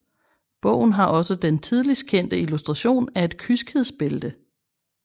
Bogen har også den tidligst kendte illustration af et kyskhedsbælte